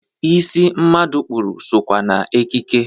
Isi mmadụ kpụrụ sokwa n'ekike.